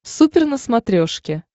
супер на смотрешке